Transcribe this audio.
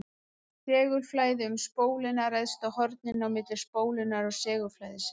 Segulflæði um spóluna ræðst af horninu á milli spólunnar og segulflæðisins.